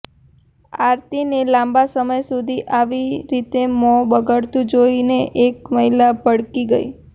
આરતીને લાંબા સમય સુધી આવી રીતે મોં બગાડતું જોઈને એક મહિલા ભડકી ગઈ